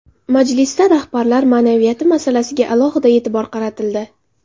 Majlisda rahbarlar ma’naviyati masalasiga alohida e’tibor qaratildi.